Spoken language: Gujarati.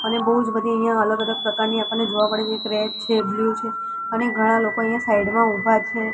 અને બોજ બધી અહિયા અલગ-અલગ પ્રકારની આપણને જોવા મળે છે એક રેડ છે બ્લુ છે અને ઘણા લોકો અહિયા સાઇડ મા ઉભા છે.